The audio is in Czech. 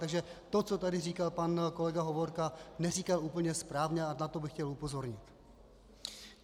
Takže to, co tady říkal pan kolega Hovorka, neříkal úplně správně a na to bych chtěl upozornit.